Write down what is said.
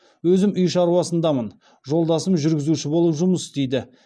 өзім үй шаруасындамын жолдасым жүргізуші болып жұмыс істейді